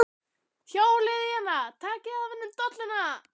Hjólið í hana. takið af henni dolluna!